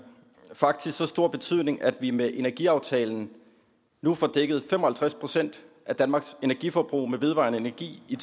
faktisk så stor betydning at vi med energiaftalen nu får dækket fem og halvtreds procent af danmarks energiforbrug med vedvarende energi i